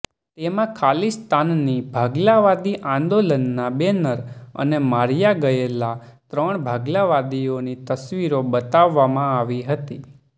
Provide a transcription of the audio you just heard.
તેમાં ખાલિસ્તાની ભાગલાવાદી આંદોલનના બેનર અને માર્યા ગયેલા ત્રણ ભાગલાવાદીઓની તસવીરો બતાવવામાં આવી હતી